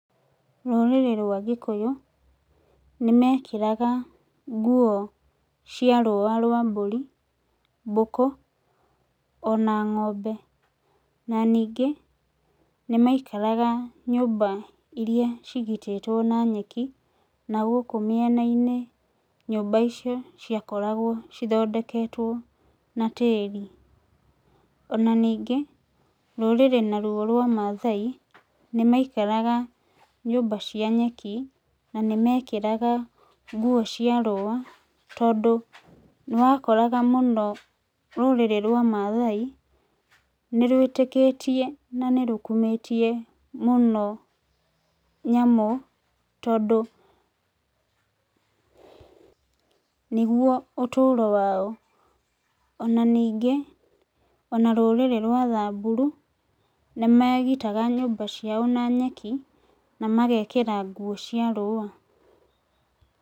Rũrĩrĩ rwa gĩkũyũ, nĩ mekagĩra nguo cia rũwa rwa mbũri, mbũkũ ona ng'ombe na ningĩ nĩ maikaraga nyũmba iria cigitĩtwo na nyeki, na gũkũ mĩena-inĩ nyũmba ciakoragwo cithondeketwo na tĩĩri. Ona ningĩ, rũrĩrĩ naruo rwa mathai, nĩ maikaraga nyũmba cia nyeki na nĩmekĩraga nguo cia rũwa tondũ nĩwakoraga mũno rũrĩrĩ rwa mathai nĩ rwĩtĩkĩtie na nĩ rũkumĩtie mũno nyamũ tondũ nĩguo ũtũro wao. Ona ningĩ rũrĩrĩ rwa thamburu nĩ megĩtaga nyũmba ciao na nyeki na magekĩra nguo cia rũwa.